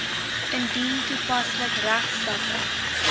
indien toepaslik regstappe